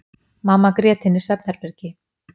Mamma grét inni í svefnherbergi.